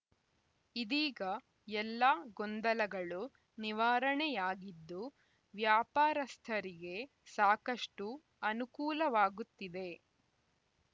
ಇದೀಗ ಎಲ್ಲ ಗೊಂದಲಗಳು ನಿವಾರಣೆಯಾಗಿದ್ದು ವ್ಯಾಪಾರಸ್ಥರಿಗೆ ಸಾಕಷ್ಟುಅನುಕೂಲವಾಗುತ್ತಿದೆ